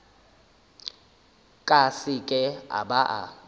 ka seke a ba a